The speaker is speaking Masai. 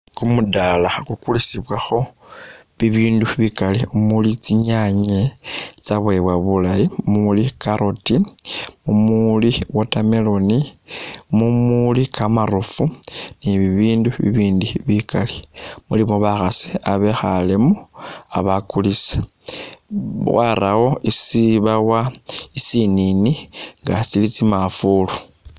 Kumudaala kukukulisibwakho bibindu bikaali mumuli tsinyaanye, tsitsawewa bulaayi, muli'carrot, mumuli watermelon, mumuli kamarofu ni'bibindu bibindi bikaali, mulimo bakhasi babekhalemo babakulisa warawo isibawa sisinini nga sili tsimanvulu